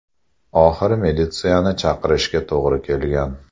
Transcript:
Oxiri militsiyani chaqirishga to‘g‘ri kelgan.